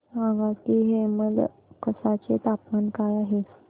सांगा की हेमलकसा चे तापमान काय आहे